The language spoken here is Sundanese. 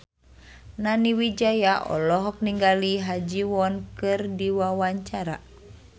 Nani Wijaya olohok ningali Ha Ji Won keur diwawancara